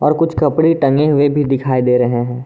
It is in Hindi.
और कुछ कपड़े टंगे हुए भी दिखाई दे रहे हैं।